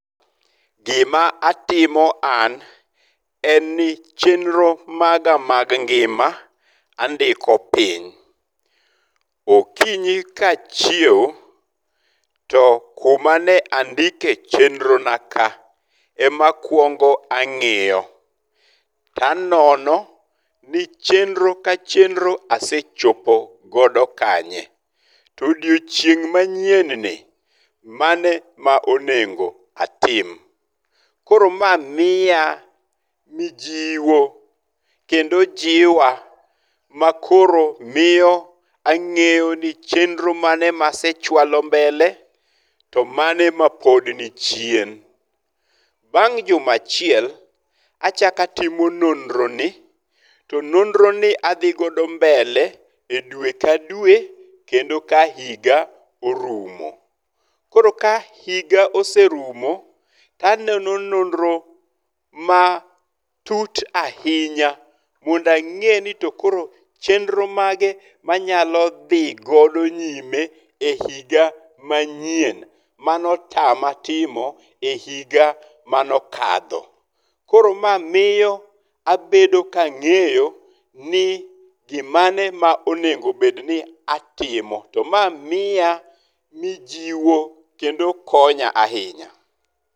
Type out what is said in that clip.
Gima atimo an, en ni chenro maga mag ngima andiko piny. Okinyi ka achiew, to kumane andike chenro naka, ema akwongo ang'iyo. To anono ni chenro ka chenro asechopo godo kanye. To odiocheing' manyien ni, mane ma onengo atim. Koro ma miya mijiwo kendo jiwa makoro miyo ang'eyo ni chenro mane masechwalo mbele to mane ma pod ni chien. Bang' juma achiel, achako atimo nonro ni. To nonro ni adhigodo mbele e dwe ka dwe kendo ka higa orumo. Koro ka higa oserumo, to anono nonro matut ahinya mondo ang'e ni to koro chenro mage ma anyalo dhi godo nyime e higa manyien mane otama timo e higa mano okadho. Koro ma miyo abedo ka ang'eyo ni gimane ma onengo obed ni atimo. To ma miya mijiwo kendo konya ahinya.